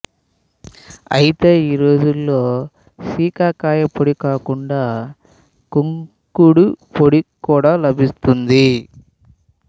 అయితే ఈ రోజుల్లో శీకాకాయపొడి కాకుండా కుంకుడుపొడి కూడా లభిస్తోంది